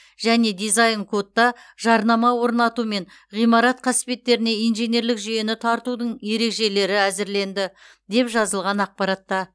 және дизайн кодта жарнама орнату мен ғимарат қасбеттеріне инженерлік жүйені тартудың ережелері әзірленді деп жазылған ақпаратта